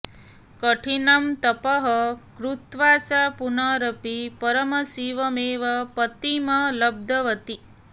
कठिनं तपः कृत्वा सा पुनरपि परमशिवमेव पतिं लब्धवती